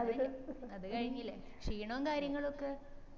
അത്ലു അത് കഴിഞ്ഞില്ലേ ക്ഷീണോം കാര്യങ്ങളൊക്കെ